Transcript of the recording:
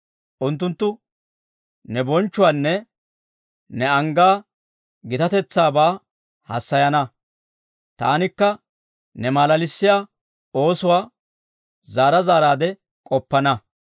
Unttunttu ne bonchchuwaanne ne anggaa gitatetsaabaa haasayana; taanikka ne malalissiyaa oosuwaa zaara zaaraadde k'oppana.